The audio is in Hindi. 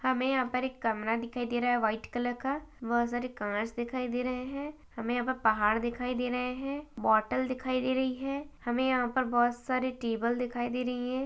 हमें यहाँ पर एक कमरा दिखाई दे रहा है वाइट कलर का बोहोत सारे कांच दिखाई दे रहे हैं हमें यहाँ पे पहाड़ दिखाई दे रहे हैं बोटल दिखाई दे रही है हमें यहाँ पर बोहोत सारे टेबल दिखाई दे रही हैं।